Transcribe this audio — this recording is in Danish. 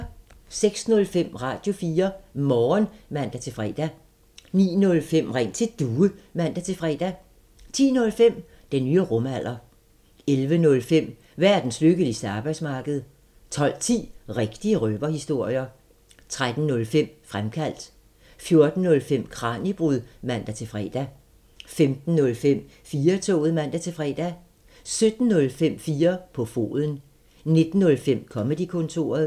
06:05: Radio4 Morgen (man-fre) 09:05: Ring til Due (man-fre) 10:05: Den nye rumalder 11:05: Verdens lykkeligste arbejdsmarked 12:10: Rigtige røverhistorier 13:05: Fremkaldt 14:05: Kraniebrud (man-fre) 15:05: 4-toget (man-fre) 17:05: 4 på foden 19:05: Comedy-kontoret